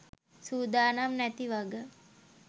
සූදානම් නැති වග.